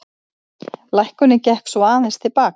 Lækkunin gekk svo aðeins til baka